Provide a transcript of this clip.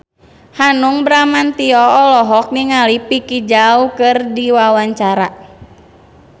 Hanung Bramantyo olohok ningali Vicki Zao keur diwawancara